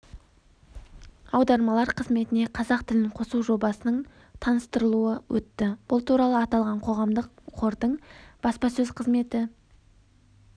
аудармалар қызметіне қазақ тілін қосу жобасының таныстырылуы өтті бұл туралы аталған қоғамдық қордың баспасөз қызметі